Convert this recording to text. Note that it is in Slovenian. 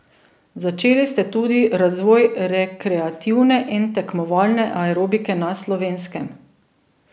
Začeli ste tudi razvoj rekreativne in tekmovalne aerobike na Slovenskem.